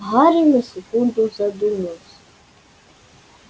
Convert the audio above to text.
гарри на секунду задумался